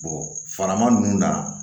farama ninnu na